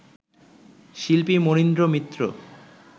শিল্পী মনীন্দ্র মিত্র